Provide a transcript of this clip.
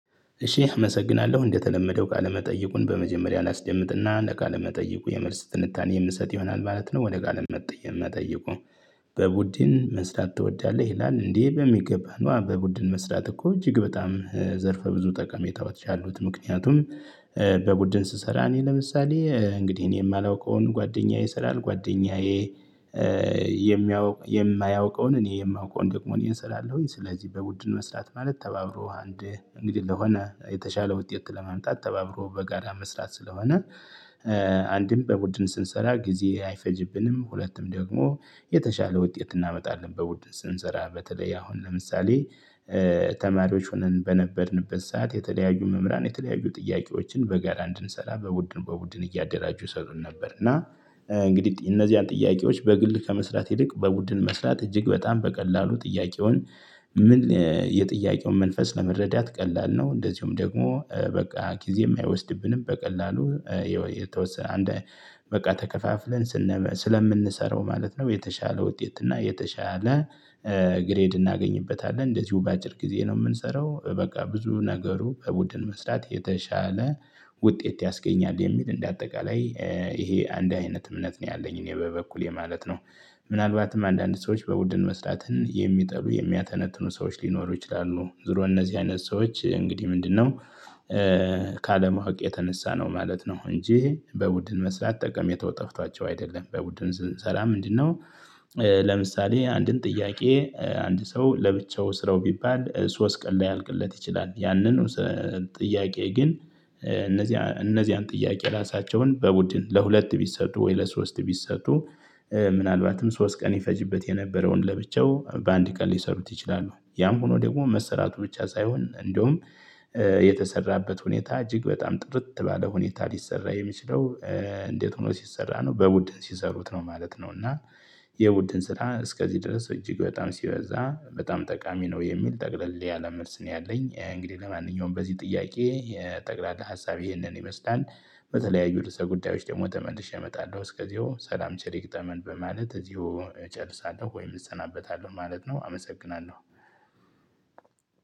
እሺ አመሰግናለሁ እንደተለመደው ቃለ መጠይቁን በመጀመሪያ ላስደምጥና ለቃለ መጠይቁ የመልስ ትንታኔ የምሰጥ ይሆናል ማለት ነው። ወደ ቃል መጠየቅ መጠየቁ? በቡድን መስራት ትወዳለህ ይላል? እንዴ በሚገባ ነው በቡድን መስራት እኮ እጅግ በጣም ዘርፈ ብዙ ጠቀሜታዎች ያሉት ምክንያቱም። በቡድን ስሰራ እኔ ለምሳሌ እንግዲህ እኔ የማላውቀውን ጓደኛዬ ስላልኩ ጓደኛዬ። የማያውቀውን እኔ የማውቀውን ደግሞ እኔን ስላለው ስለዚህ በቡድን መስራት ማለት ተባብሮ አንድ እንግዲህ ለሆነ የተሻለ ውጤት ለመምጣት ተባብሮ በጋራ መስራት ስለሆነ። አንድም በቡድን ስንሰራ ጊዜ አይፈጅብንም ሁለቱም ደግሞ የተሻለ ውጤት እናመጣለን። በቡድን ስንሰራ በተለይ አሁን ለምሳሌ ተማሪዎች ሆነን በነበርንበት ሰዓት የተለያዩ መምህራን የተለያዩ ጥያቄዎችን በጋራ እንድንሰራ ቡድን ቡድን እያደራጁ ይሰጡን ነበር። እና እንግዲህ እነዚህን ጥያቄዎች በግል ከመስራት ይልቅ በቡድን መስራት እጅግ በጣም በቀላሉ ጥያቄውን ምን የጥያቄውን መንፈስ ለመረዳት ቀላል ነው። እንደዚሁም ደግሞ በቃ ጊዜ አይወስድብንም በቀላሉ የተወሰነ አንድ በቃ ተከፋፍለን ስንመስለን ስለምንሰራው ማለት ነው። የተሻለ ውጤት እና የተሻለ ግሬድ እናገኝበታለን እንደዚሁ በአጭር ጊዜ ነው። የምንሰራው በቃ ብዙ ነገሩ በቡድን መስጠት የተሻለ ውጤት ያስገኛል የሚል እንደ አጠቃላይ ይሄ አንድ አይነት እምነት ነው። ያለኝ እኔ በበኩሌ ማለት ነው። ምናልባትም አንዳንድ ሰዎች በቡድን መስራትን የሚጠሉ የሚያተነትኑ ሰዎች ሊኖሩ ይችላሉ። ድሮ እነዚህ አይነት ሰዎች እንግዲህ ምንድነው? ካለማወቅ የተነሳ ነው ማለት ነው። እንጂ በቡድን መስራት ጠቀሜታው ጠፍቷቸው አይደለም። በቡድን ስንስራ ምንድነው? ለምሳሌ አንድን ጥያቄ አንድ ሰው ለብቻው ስራው ቢባል ሶስት ቀን ላያልቅለት ይችላል። ያንን ጥያቄ ግን። እነዚህ እነዚህን ጥያቄ ራሳቸውን በቡድን ለሁለት ቢሰጡ ወይ ለሶስት ቢሰጡ። ምናልባትም ሶስት ቀን ይፈጅበት የነበረውን ለብቻው በአንድ ቀን ሊሰሩት ይችላሉ። ያም ሆኖ ደግሞ መሰራቱ ብቻ ሳይሆን እንደሁም። የተሰራበት ሁኔታ እጅግ በጣም ጥርት ባለ ሁኔታ ሊሰራ የሚችለው። እንዴት? ሆኖ ሲሰራ ነው በቡድን ሲሰሩት ነው ማለት ነው። እና። የቡድን ስራ እስከዚህ ድረስ እጅግ በጣም ሲበዛ በጣም ጠቃሚ ነው የሚል ጠቅለል ያለ መልስ ነው። ያለኝ እንግዲህ ለማንኛውም በዚህ ጥያቄ ጠቅላላ ሀሳብ ይህንን ይመስላል። በተለያዩ ርዕሰ ጉዳዮች ደግሞ ተመልሼ እመጣለሁ እስከዚሁ ሰላም ቸር ይግጠመን በማለት እዚሁ እጨርሳለሁ። ወይም እሰናበታለሁ ማለት ነው። አመሰግናለሁ።